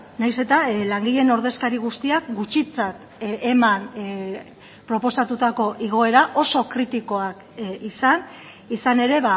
nahiz eta langileen ordezkari guztiak gutxitzat eman proposatutako igoera oso kritikoak izan izan ere